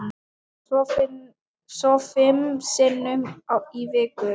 Svo fimm sinnum í viku.